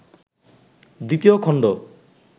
২য় খণ্ড